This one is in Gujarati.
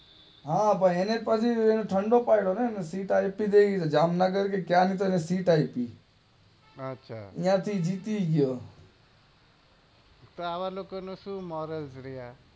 હા પણ એને પછી એને ઠંડો પાડો ને? આઇઇથી ક્યાં એને જામનગર ની તો એને સીટ આપી આછા ન્યાંથી જીતી ગયો તો આવા લોકો નું સુ મોરાલ